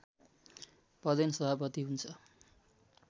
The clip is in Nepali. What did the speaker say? पदेन सभापति हुन्छ